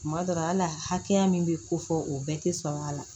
Tuma dɔ la ala hakɛya min bɛ ko fɔ o bɛɛ tɛ sɔn a la